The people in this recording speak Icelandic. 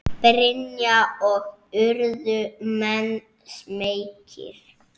Brynja: Og urðu menn smeykir?